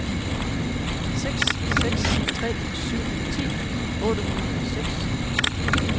seks seks tre syv ti otte hundrede og seks